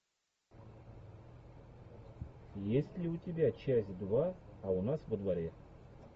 есть ли у тебя часть два а у нас во дворе